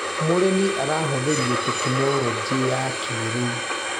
Mũrĩmi arahũthĩrire tekinologĩ ya kĩrĩu.